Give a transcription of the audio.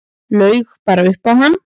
Laug bara upp á hann.